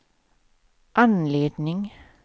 anledning